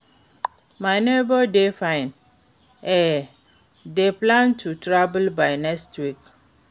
my neighbor dey fine, e dey plan to travel by next week.